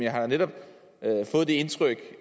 har netop fået det indtryk